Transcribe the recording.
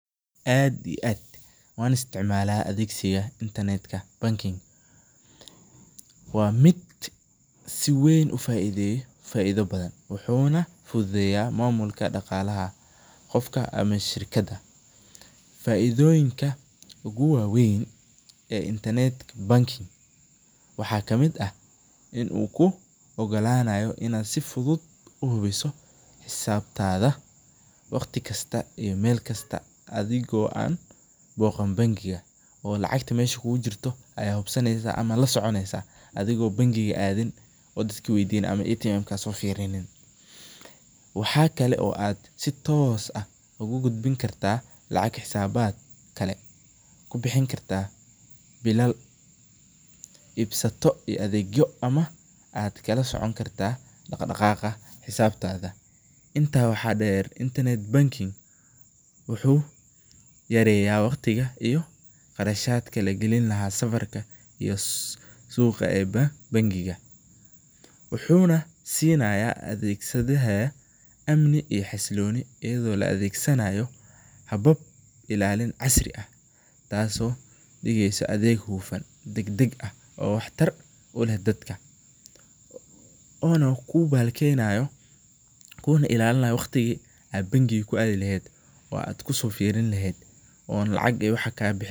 Aad iyo aad waan isticmaala adeegta intanetka banking ,waa mid si weyn ufaideeyo faaida badan, wuxuu fududeya mamulka daqaalaha qofka ama shirkada, faidoyinka ugu waweyn ee intanetka banking waxaa kamid ah in uu kuu ogolanayo inaad si fudud uhubiso xisaabtada waqti kasta iyo meel kasta adhigo aan booqan bankiga ee lacagta meesha kuugu jirto ayaa hubsaneysa ama aad lasoconeysa adhigo bankiga aadin ama ATM soo fiirinin, waxaa kale oo aad si toos ah ugu gudbin kartaa lacag xisaabad kale kubixin kartaa bilal ibsato ama adeegyo aad kala socon kartaa daqdaqaaqa xisaabtada, intaas waxaa deer internet banking wuxuu yareeya waqtiga iyo qarashadka lagalin lahaa safarka suuqa ee bankiga, wuxuuna siinaya adeegsadaha amni iyo xasilooni ayado la adeegsanaayo habab ilaalin casri ah taas oo digeysa adeeg hufan, dagdag ah oo wax tar uleh dadka una kuu ilaalinaayo waqtiga aad bankinga ku aadi leheed oo aad kusoo fiirin leheed.